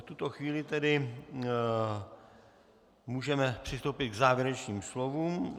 V tuto chvíli tedy můžeme přistoupit k závěrečným slovům.